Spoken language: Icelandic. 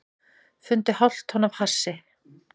Fundu hálft tonn af hassi